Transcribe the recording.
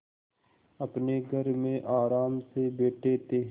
अपने घर में आराम से बैठे थे